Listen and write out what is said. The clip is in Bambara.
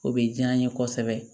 O bɛ diya n ye kosɛbɛ